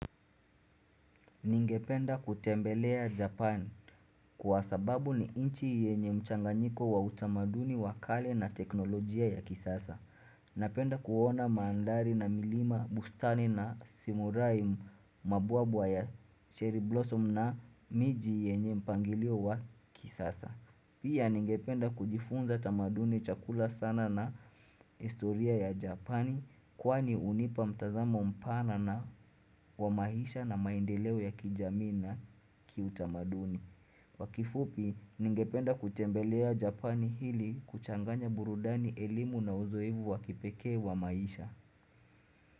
Ningependa kutembelea Japan kwa sababu ni inchi yenye mchanganyiko wa utamaduni wa kale na teknolojia ya kisasa. Napenda kuona mandari na milima, bustani na simurai mabwabwa ya cherry blossom na miji yenye mpangilio wa kisasa. Pia ningependa kujifunza tamaduni chakula sana na istoria ya Japani kwani unipa mtazamo mpana na wa maisha na maendeleo ya kijamii na kiutamaduni. Kwa kifupi ningependa kutembelea Japani hili kuchanganya burudani elimu na uzoevu wa kipekee wa maisha.